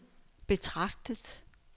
betragtet